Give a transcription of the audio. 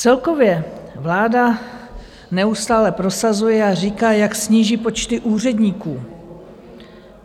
Celkově vláda neustále prosazuje a říká, jak sníží počty úředníků.